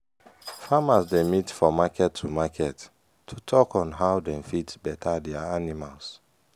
farmers dey meet for market to market to talk on how dem fit better their animal.